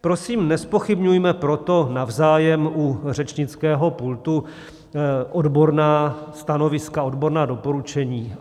Prosím, nezpochybňujme proto navzájem u řečnického pultu odborná stanoviska, odborná doporučení.